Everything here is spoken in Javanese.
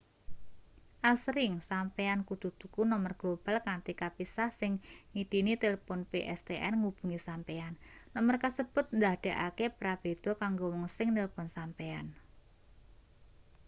asring sampeyan kudu tuku nomer global kanthi kapisah sing ngidini tilpun pstn ngubungi sampeyan nomer kasebut ndadekake prabéda kanggo wong sing nilpun sampeyan